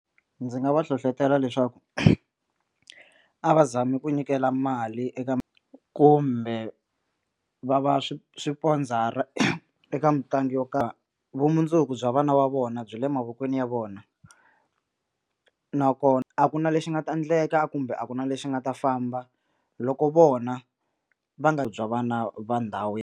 Ndzi nga va hlohlotela leswaku a va zami ku nyikela mali eka kumbe va va swi swipondzara eka mitlangu yo karhi vumundzuku bya vana va vona byi le mavokweni ya vona nakona a ku na lexi nga ta endleka kumbe a ku na lexi nga ta famba loko vona va nga bya vana va ndhawu.